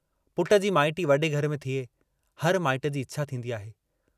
पुट जी माइटी वॾे घर में थिए, हर माइट जी इछा थींदी आहे।